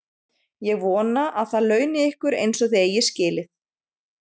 Ég vona, að það launi ykkur eins og þið eigið skilið.